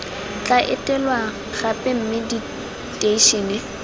tla etelwang gape mme diteishene